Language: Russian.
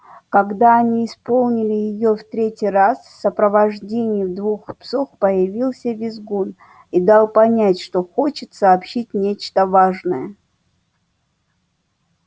когда они исполнили её в третий раз в сопровождении двух псов появился визгун и дал понять что хочет сообщить нечто важное